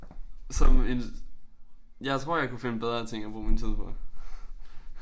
Som en jeg tror jeg kunne finde bedre ting at bruge min tid på